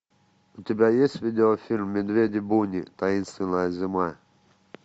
у тебя есть видео фильм медведи бунни таинственная зима